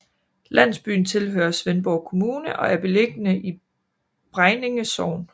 Landsbyen tilhører Svendborg Kommune og er beliggende i Bregninge Sogn